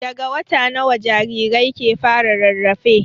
Daga wata nawa jarirai ke fara rarrafe?